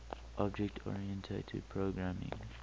object oriented programming